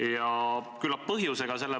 Ja küllap põhjusega.